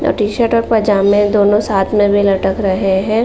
यहाँ टी-शर्ट और पजामें दोनों साथ में भी लटक रहे हैं।